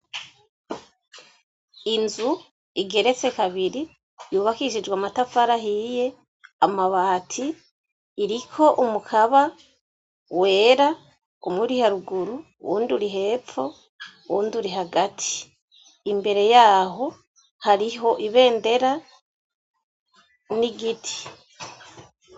Inzu igeretse kabiri yubakishijwe amatafarahiye amabati iriko umukaba wera umuri haruguru wundura ihepfo wundura hagati imbere yaho hariho ibendera ni igiti.